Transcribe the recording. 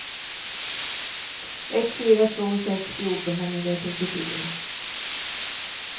ett fyra två sex fjorton femhundratrettiofyra